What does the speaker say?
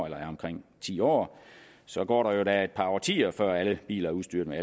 er omkring ti år så går der jo da et par årtier før alle biler er udstyret med